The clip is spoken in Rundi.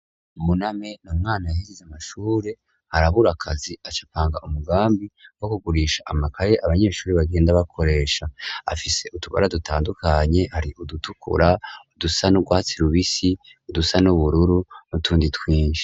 Buname n'umwana yahejeje amashure, arabura akazi aca apanga umugambi wo kugurisha amakaye abanyeshuri bagenda bakoresha, afise utubara dutandukanye, hari udutukura, udusa n'urwatsi rubisi, udusa n'ubururu, n'utundi twinshi.